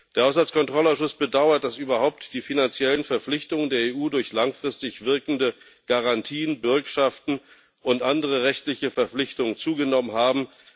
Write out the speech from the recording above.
Der Haushaltskontrollausschuss bedauert, dass überhaupt die finanziellen Verpflichtungen der EU durch langfristig wirkende Garantien, Bürgschaften und andere rechtliche Verpflichtungen zugenommen haben.